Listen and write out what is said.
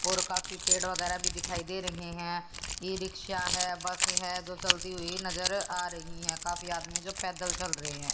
और काफी पेड़ वगैरा भी दिखाई दे रहे हैं ई_रिक्शा है बस है जो चलती हुई नजर आ रही हैं काफी आदमी जो पैदल चल रहे हैं।